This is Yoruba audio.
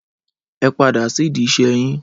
Ẹ padà sidi ìṣe yín.